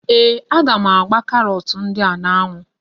Ee, a gá m ágbá karọt ndị a n'ánwụ́